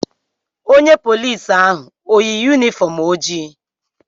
Onye polici ahụ o yi yunifọm ojii?